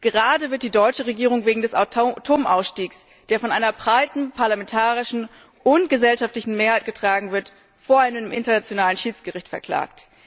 Gerade wird die deutsche Regierung wegen des Atomausstiegs, der von einer breiten parlamentarischen und gesellschaftlichen Mehrheit getragen wird, vor einem internationalen Schiedsgericht verklagt.